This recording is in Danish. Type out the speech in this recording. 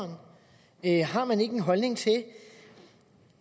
har man ikke en holdning til